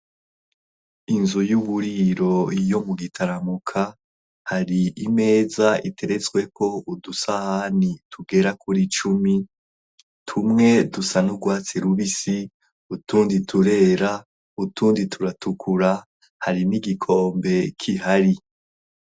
inzu y'uburiro iyo mu gitaramuka hari imeza iteretswe ko udusaha ni tugera kuri icumi tumwe dusa n'ugwatsi rubisi utundi turera utundi turatukura harimo igikombe k'ihari